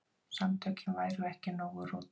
Samtökin væru ekki nógu róttæk.